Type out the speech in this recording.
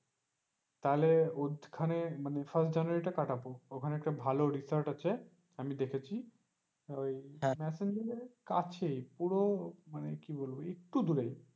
তাহলে ঐখানে মানে first january তা কাটাবো ঐখানে একটা ভালো রিসোর্ট আছে আমি দেখেছি মেসেঞ্জোর এর কাছেই পুরো মানে কি বলবো একটু দূরে।